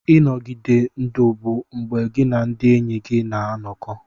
Ịnọgide ndụ bụ mgbe gị na ndị enyi gị na-anọkọ.